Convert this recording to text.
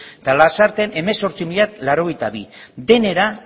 eta lasarten hemezortzi mila laurogeita bi denera